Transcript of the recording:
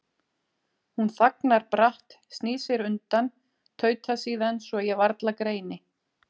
Hún þagnar bratt, snýr sér undan, tautar síðan svo ég varla greini